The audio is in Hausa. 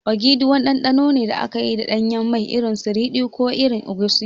Ogiri wani ɗanɗano ne da aka yi da ɗanyen mai, irin su ridi ko irin egusi.